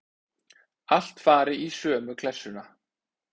Allt fari í sömu klessuna.